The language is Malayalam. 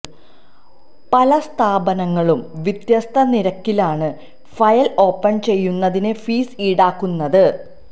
പല സ്ഥാപന ങ്ങളും വ്യത്യസ്ത നിരക്കിലാണ് ഫയല് ഓപ്പണ് ചെയ്യുന്നതിന്ഫീസ് ഈടാക്കുന്നത്